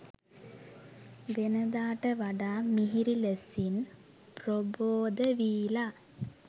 වෙනදාට වඩා මිහිරි ලෙසින් ප්‍රබෝද වීලා.